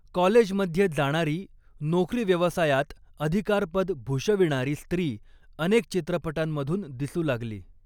College मध्ये जाणारी नोकरीव्यवसायात अधिकारपद भूषविणारी स्त्री अनेक चित्रपटांमधून दिसू लागली.